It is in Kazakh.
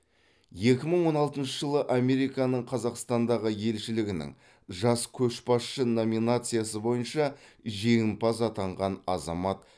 екі мың он алтыншы жылы американың қазақстандағы елшілігінің жас көшбасшы номинациясы бойынша женімпаз атанған азамат